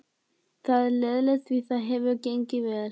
Það er leiðinlegt því það hefur gengið vel.